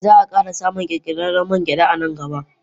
Zaa kara samun kirkirarren mangyada a nan gaba.